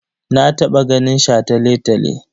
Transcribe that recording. Na taɓa ganin shataletale.